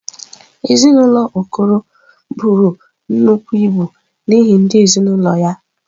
Ezinụlọ Okoro buru nnukwu ibu n’ihi ndị ezinaụlọ ya.